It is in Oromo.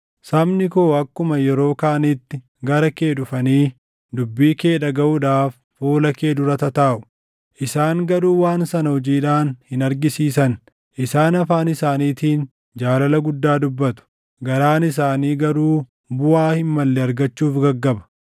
Sabni koo akkuma yeroo kaaniitti gara kee dhufanii dubbii kee dhagaʼuudhaaf fuula kee dura tataaʼu; isaan garuu waan sana hojiidhaan hin argisiisan. Isaan afaan isaaniitiin jaalala guddaa dubbatu; garaan isaanii garuu buʼaa hin malle argachuuf gaggaba.